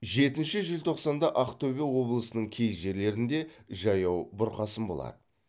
жетінші желтоқсанда ақтөбе облысының кей жерлерінде жаяу бұрқасын болады